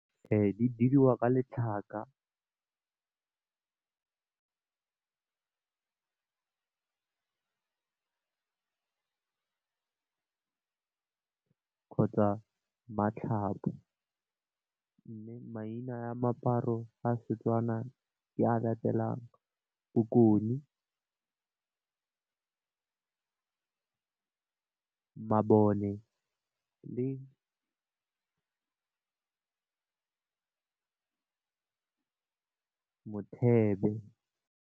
Di diriwa ka letlhaka kgotsa matlhaku mme maina a moaparo a setswana ke a latelang bokoni mabone le mothebe.